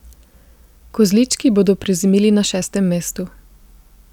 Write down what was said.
Kozlički bodo prezimili na šestem mestu.